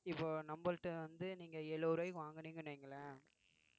இப்போ நம்மள்ட்ட வந்து நீங்க எழுபது ரூபாய்க்கு வாங்குனீங்கன்னு வையுங்களேன்